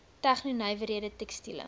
tegno nywerhede tekstiele